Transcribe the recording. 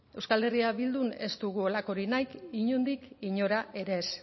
euskal herria bildun ez dugu halakorik nahi inondik inora ere ez